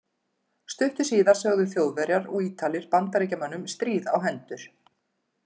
Stuttu síðar sögðu Þjóðverjar og Ítalir Bandaríkjamönnum stríð á hendur.